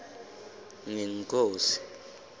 ngenkhosi